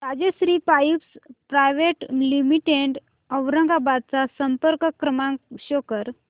Rajshri pipes private limited Aurangabad चा संपर्क क्रमांक शो कर